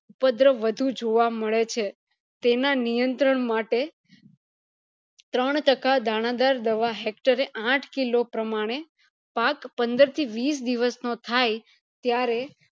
ઉપદ્ર વધુ જોવા મળે છે તેના નિયંત્રણ માટે ત્રણ ટકા દાણાદાર દવા hector એ આઠ kilo પ્રમાણે પાક પંદર થી વિશ દિવસ નો થાય ત્યારે